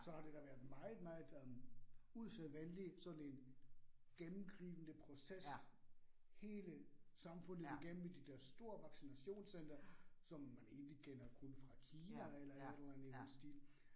Så har det da været meget meget øh usædvaneligt sådan en gennemgribende proces, hele samfundet igennem i de der store vaccinationscentre, som man egentlig kender kun fra Kina eller et eller andet i den stil